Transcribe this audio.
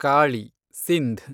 Kali , Sindh